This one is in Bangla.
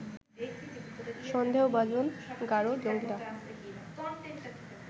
সন্দেহভাজন গারো জঙ্গীরা